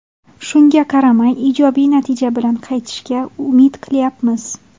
Shunga qaramay, ijobiy natija bilan qaytishga umid qilyapmiz.